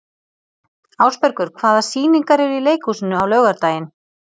Ásbergur, hvaða sýningar eru í leikhúsinu á laugardaginn?